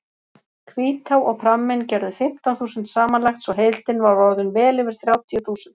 Hvítá og pramminn gerðu fimmtán þúsund samanlagt svo heildin var orðin vel yfir þrjátíu þúsund.